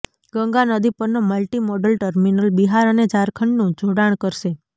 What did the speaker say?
ગંગા નદી પરનો multi modal terminal Bihar અને ઝારખંડનું જોડાણ કરશે